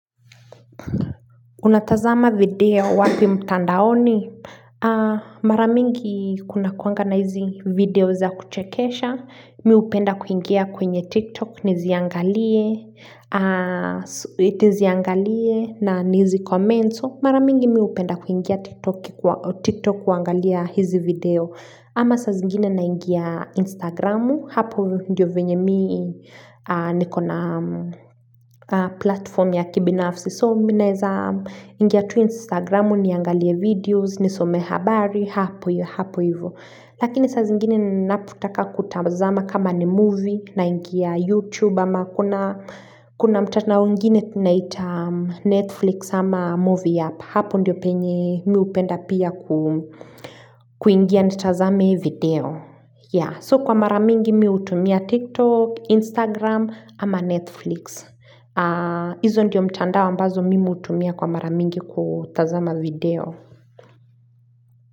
Unatazama video wapi mtandaoni? Mara mingi kunakuanga na hizi video za kuchekesha. Mimi hupenda kuingia kwenye TikTok. Niziangalie. Niziangalie na nizi komenzo. Mara mingi mimi hupenda kuingia TikTok kuangalia hizi video. Ama saa zingine naingia Instagramu. Hapo ndio venye mimi nikona platform ya kibinafsi. So mimi naeza ingia tu Instagramu niangalie videos, nisome habari, hapo yu, hapo hivo. Lakini saa zingine napotaka kutazama kama ni movie naingia YouTube ama kuna mtandao ingini tunaita Netflix ama movie hub. Hapo ndiyo penye mimi hupenda pia kuingia nitazame video. So kwa mara mingi mimi hutumia TikTok, Instagram ama Netflix. Hizo ndiyo mtandao ambazo mimi hutumia kwa mara mingi kutazama video.